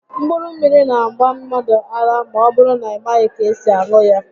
Mkpụrụ mmiri n'agba mmadụ ara ma ọbụrụ na ị i maghị ka esi aṅụ ya